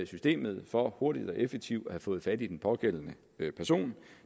systemet for hurtigt og effektivt at have fået fat i den pågældende person